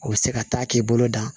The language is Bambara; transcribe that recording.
O bɛ se ka taa k'i bolo dan